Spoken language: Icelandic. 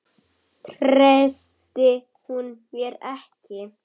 Treysti hún mér ekki?